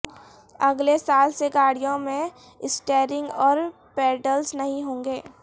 اگلے سال سے گاڑیوں میں اسٹیرنگ اور پیڈلز نہیں ہونگے